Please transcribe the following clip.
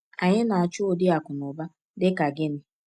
Anyị na-achọ ụdị akụnụba dị ka gịnị?